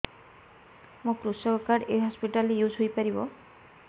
ମୋର କୃଷକ କାର୍ଡ ଏ ହସପିଟାଲ ରେ ୟୁଜ଼ ହୋଇପାରିବ